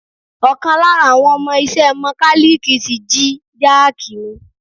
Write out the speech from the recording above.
Ọ̀kan lára àwọn ọmọ iṣẹ́ Mọkálíìkí tí jí jáàki mi.